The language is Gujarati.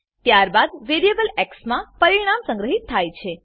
ત્યારબાદ વેરીએબલ એક્સ માં પરિણામ સંગ્રહીત થાય છે